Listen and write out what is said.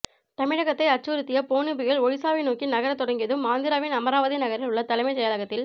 தமிழகத்தை அச்சுறுத்திய போனி புயல் ஒடிசாவை நோக்கி நகரத் தொடங்கியதும் ஆந்திராவின் அமராவதி நகரில் உள்ள தலைமைச் செயலகத்தில்